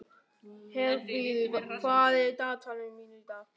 Herfríður, hvað er í dagatalinu mínu í dag?